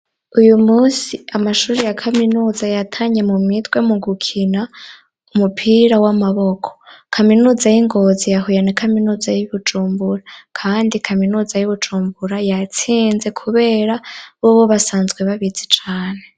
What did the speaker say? Uyu musi amashuri ya kaminuza yatanye mu mitwe mu gukina umupira w'amaboko. Kaminuza y'i Ngozi yahuye na kaminuza y'i Bujumbura, kandi kaminuza y'i Bujumbura yatsinze kubera bobo basanzwe babizi cane.